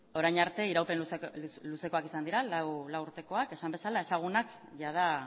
orain arte iraupen luzekoak izan dira lau urtekoak esan bezala ezagunak jada